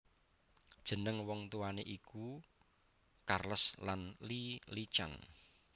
Jeneng wong tuwané iku Charles lan Lee Lee Chan